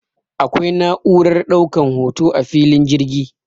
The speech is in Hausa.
akwai na'urar daukar hoto a filin jirgi